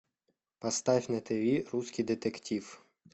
поставь на тиви русский детектив